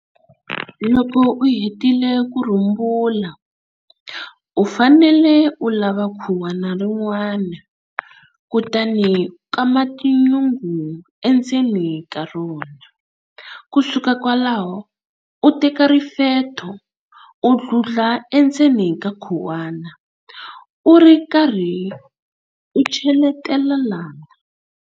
Loko u hetile ku rhumbula, u fanele u lava khuwana rin'wana, kutani u kama tinyungu endzeni ka rona. Ku suka kwalaho u teka rifetho u dludla endzeni ka khuwana u ri karhi u cheletela na.